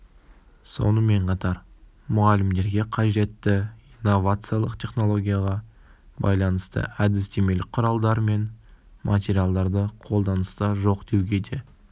сонымен қатар мұғалімдерге қажетті инновациялық технологияға байланысты әдістемелік құралдар мен материалдары қолданыста жоқ деуге де